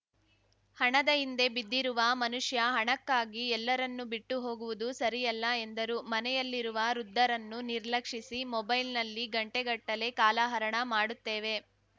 ಹಣದ ಹಿಂದೆ ಬಿದ್ದಿರುವ ಮನುಷ್ಯ ಹಣಕ್ಕಾಗಿ ಎಲ್ಲಾರನ್ನೂ ಬಿಟ್ಟು ಹೊಗುವುದು ಸರಿಯಲ್ಲ ಎಂದರು ಮನೆಯಲ್ಲಿರುವ ವೃದ್ಧರನ್ನು ನಿರ್ಲಕ್ಷಿಸಿ ಮೊಬೈಲ್‌ನಲ್ಲಿ ಗಂಟೆಗಟ್ಟಲೆ ಕಾಲಹರಣ ಮಾಡುತ್ತೇವೆ